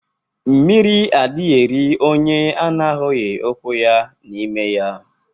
Mmiri adighi eri onye ọ na ahughi ukwu ya n'ime ya.